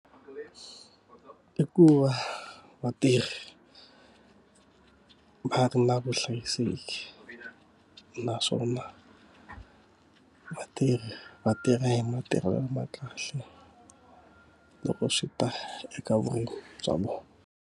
I ku va vatirhi va ri na vuhlayiseki, naswona vatirhi va tirhi hi matirhelo lama kahle loko swi ta eka vurimi bya vona.